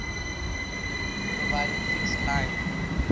providing fixed line